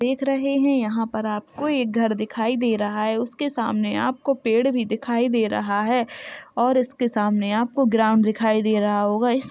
देख रहे हैं यहाँ पर आपको एक घर दिखाई दे रहा है उसके सामने आपको पेड़ भी दिखाई दे रहा है और इसके सामने आपको ग्राउन्‍ड्‌ दिखाई दे रहा होगा। इस --